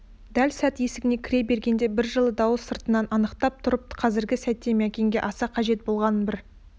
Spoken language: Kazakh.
дәл сәт есігіне кіре бергенде бір жылы дауыс сыртынан анықтап тұрып қазіргі сәтте мәкенге аса қажет болған бір